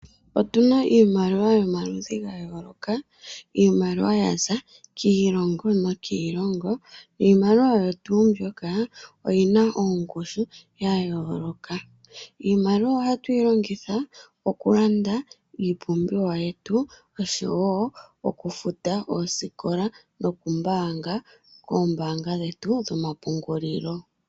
Otuna iimaliwa yomaludhi ga yooloka, iimaliwa yaza kiilongo nokiilongo iimaliwa oyo tuu mbyoka oyi na ongushu ya yooloka. Iimaliwa ohayi longithwa oku landa iipumbiwa yetu, osho wo okufuta omanongelelo noku mbaanga koombaanga dhetu dhoma pungulilo.